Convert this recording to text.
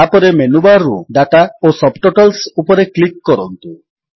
ତାପରେ ମେନୁବାର୍ ରୁ ଦାତା ଓ ସବଟଟଲ୍ସ ଉପରେ କ୍ଲିକ୍ କରନ୍ତୁ